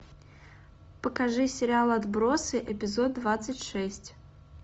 покажи сериал отбросы эпизод двадцать шесть